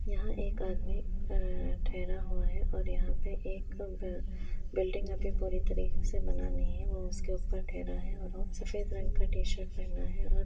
यहाँ एक आदमी अ-अ ठेहरा हुआ है और यहाँ पे एक बिल्डिंग अभी पुरी तरीके से बना नहीं है वो उसके ऊपर ठहरा है और वो सफेद रंग का टी-शर्ट पहना है और----